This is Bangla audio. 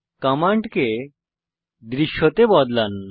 কমান্ডকে দৃশ্যতে বদলান